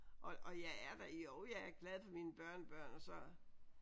Og jeg er jo jeg er glad for mine børnebørn og så